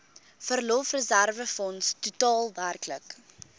verlofreserwefonds totaal werklik